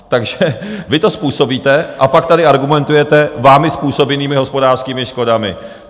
Takže vy to způsobíte, a pak tady argumentujete vámi způsobenými hospodářskými škodami.